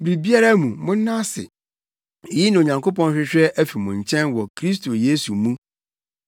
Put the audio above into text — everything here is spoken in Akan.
biribiara mu, monna ase. Eyi na Onyankopɔn hwehwɛ afi mo nkyɛn wɔ Kristo Yesu mu.